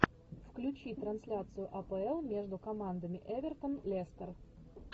включи трансляцию апл между командами эвертон лестер